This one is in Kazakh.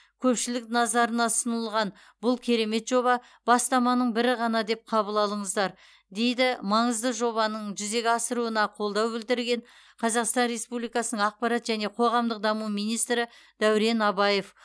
көпшілік назарана ұсынылған бұл керемет жоба бастаманың бірі ғана деп қабыл алыңыздар дейді маңызды жобаның жүзеге асыруына қолдау білдірген қазақстан республикасының ақпарат және қоғамдық даму министрі дәурен абаев